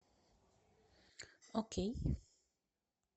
окей